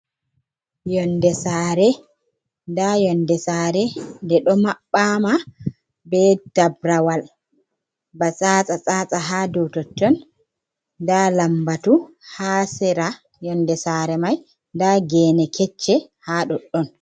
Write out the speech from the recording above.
Yonɗe sare. Nɗa yonɗe sare, nɗe ɗo maɓɓama ɓe taɓrawal. Ɓa tsata tatsa ha ɗow totton. Nɗa lamɓatu ha sera yonɗe sare mai. Nɗa gene kecce ha ɗoɗɗon.